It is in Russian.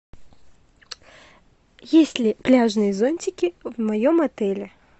есть ли пляжные зонтики в моем отеле